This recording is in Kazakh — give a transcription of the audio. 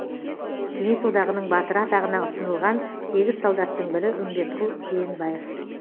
кеңес одағының батыры атағына ұсынылған сегіз солдаттың бірі үмбетқұл жиенбаев